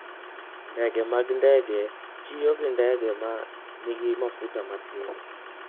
Ndege mag ndege tiyo gi ndege ma nigi mafuta matin.